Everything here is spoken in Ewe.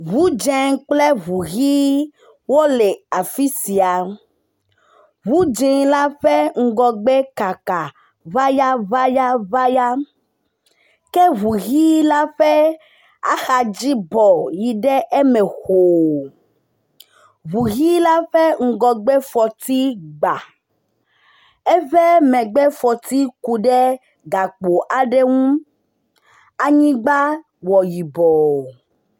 Ŋu dze kple ŋu ʋɛ̃ wole afi sia, ŋu dze la ƒe ŋgɔgbe kaka ŋayaŋayaŋaya. Ke ŋu ʋɛ̃ la ƒe axadzi bɔ yi ɖe eme xoo, ŋu ʋɛ̃ la ƒe ŋgɔgbe fɔti gba, eƒe megbe fɔti ku ɖe gakpo aɖe ŋu, anyigba wɔ yibɔ.